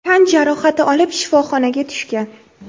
tan jarohati olib shifoxonaga tushgan.